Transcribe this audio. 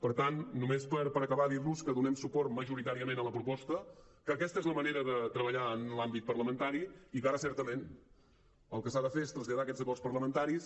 per tant per acabar només dir los que donem suport majoritàriament a la proposta que aquesta és la manera de treballar en l’àmbit parlamentari i que ara certament el que s’ha de fer és traslladar aquests acords parlamentaris